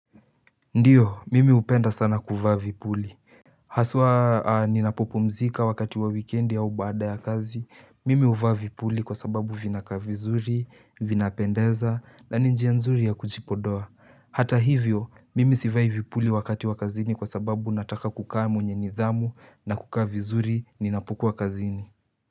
Ndiyo mimi hupenda sana kuvaa vipuli Haswaa ninapopumzika wakati wa wikendi au baada ya kazi, mimi huvaa vipuli kwa sababu vinakaa vizuri, vinapendeza na ni njia nzuri ya kujipodoa. Hata hivyo mimi sivai vipuli wakati wa kazini kwa sababu nataka kukaa mwenye nidhamu na kukaa vizuri ninapokuwa kazini.